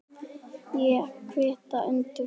Ég kvitta undir það.